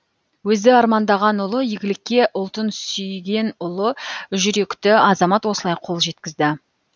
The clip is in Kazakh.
өзі армандаған ұлы игілікке ұлтын сүйген ұлы жүректі азамат осылай қол жеткізді